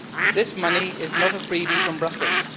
This money is not a freebie from Brussels.